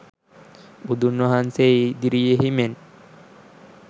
බුදුන් වහන්සේ ඉදිරියෙහි මෙන්